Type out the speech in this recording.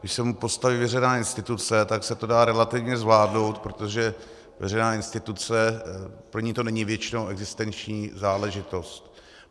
Když se mu postaví veřejná instituce, tak se to dá relativně zvládnout, protože veřejná instituce, pro ni to není většinou existenční záležitost.